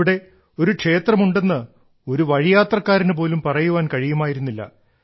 ഇവിടെ ഒരു ക്ഷേത്രം ഉണ്ടെന്ന് ഒരു വഴിയാത്രക്കാരനു പോലും പറയാൻ കഴിയുമായിരുന്നില്ല